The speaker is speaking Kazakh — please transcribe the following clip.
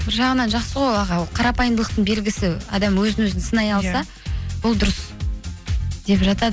бір жағынан жақсы ғой аға ол қарапайымдылықтың белгісі адам өзін өзі сынай алса ол дұрыс деп жатады